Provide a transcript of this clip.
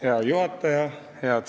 Hea juhataja!